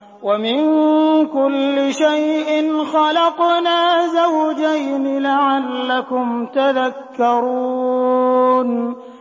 وَمِن كُلِّ شَيْءٍ خَلَقْنَا زَوْجَيْنِ لَعَلَّكُمْ تَذَكَّرُونَ